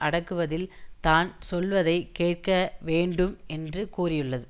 அடக்குவதில் தான் சொல்வதை கேட்க வேண்டும் என்று கோரியுள்ளது